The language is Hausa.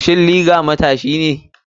Shin liger matashi ne?